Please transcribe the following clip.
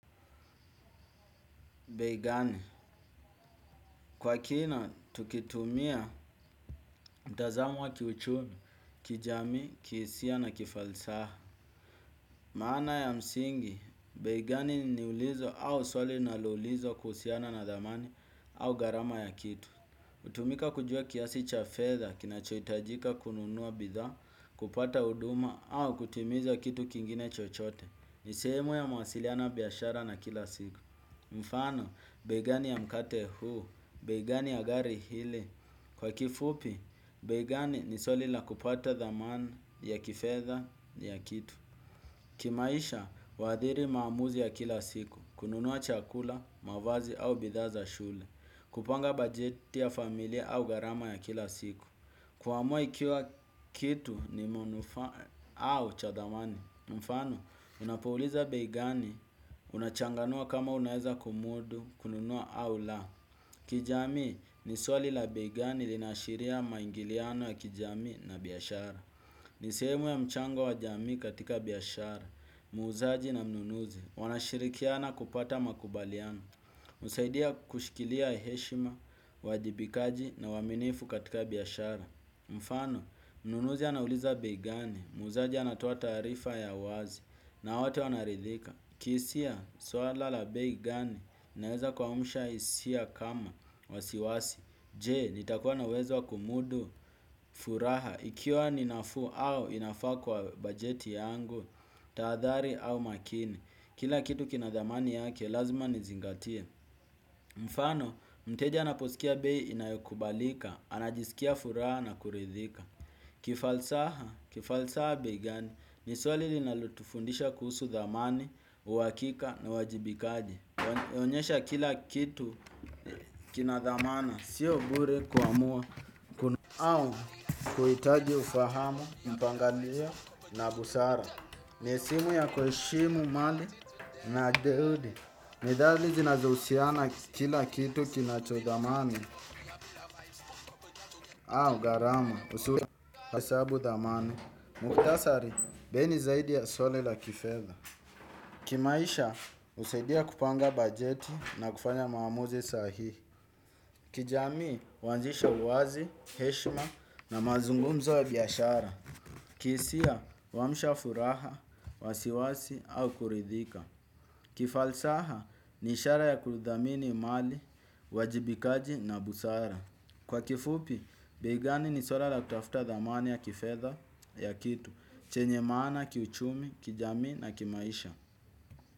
Bei gani, kwa kina tukitumia mtazamo wa kiuchumi, kijamii, kihisia na kifalsaha. Maana ya msingi, bei gani ni ulizo au swali linaloulizwa kuhusiana na thamani au gharama ya kitu. Hutumika kujua kiasi cha fedha kinachohitajika kununua bidhaa, kupata huduma au kutimiza kitu kingine chochote. Ni sehemu ya mawasiliano ya biashara na kila siku. Mfano, bei gani ya mkate huu, bei gani ya gari ile. Kwa kifupi, bei gani ni swali la kupata thamana ya kifedha ya kitu. Kimaisha, huathiri maamuzi ya kila siku. Kununua chakula, mavazi au bidhaa za shule kupanga bajeti ya familia au gharama ya kila siku kuamua ikiwa kitu ni manufaa au cha thamani mfano, unapouliza bei gani, unachanganua kama unaeza kumudu, kununua au la kijamii, ni swali la bei gani linaashiria maingiliano ya kijamii na biashara. Ni sehemu ya mchango wa jamii katika biashara, muuzaji na mnunuzi wanashirikiana kupata makubaliano, husaidia kushikilia heshima, uwajibikaji na uaminifu katika biashara. Mfano, mnunuzi anauliza bei gani, muuzaji anatoa taarifa ya wazi. Na wote wanaridhika. Kihisia, swala la bei gani. Inaweza kuamsha hisia kama. Wasiwasi. Je, nitakuwa na uwezo wa kumudu furaha. Ikiwa ni nafuu au inafaa kwa bajeti yangu. Tahadhari au makini. Kila kitu kina thamani yake, lazima nizingatie. Mfano, mteja anaposikia bei inayokubalika. Anajisikia furaha na kuridhika. Kifalsaha, kifalsaha bei gani, ni swali linalotufundisha kuhusu thamani, uhakika na uwajibikaji inaonyesha kila kitu kina thamana, sio bure kuamua au kuhitaji ufahamu, mpangalio na busara ne simu ya kueshimu mali na juhudi. Nidhali zinazohusiana kila kitu kinacho thamani au gharama, usulia, hesabu thamana, muktasari, bei ni zaidi ya swali la kifedha. Kimaisha, husaidia kupanga bajeti na kufanya maamuzi sahihi. Kijamii, huanzisha uwazi, heshma na mazungumzo ya biashara. Kihisia, huamsha furaha, wasiwasi au kuridhika. Kifalsaha, ni ishara ya kuthamini mali, uwajibikaji na busara. Kwa kifupi, bei gani ni swara la kutafuta thamani ya kifedha ya kitu, chenye maana, kiuchumi, kijamii na kimaisha.